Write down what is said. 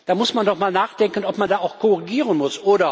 Da muss man doch mal nachdenken, ob man da auch korrigieren muss.